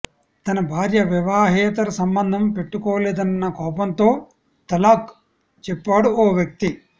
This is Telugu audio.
తన భార్య వివాహేతర సంబంధం పెట్టుకోలేదన్న కోపంతో తలాక్ చెప్పాడు ఓ వ్యక్తి